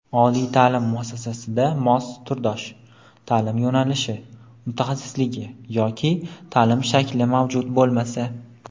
Oliy ta’lim muassasasida mos (turdosh) ta’lim yo‘nalishi (mutaxassisligi) yoki ta’lim shakli mavjud bo‘lmasa;.